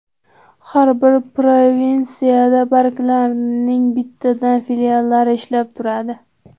Har bir provinsiyada banklarning bittadan filiallari ishlab turadi.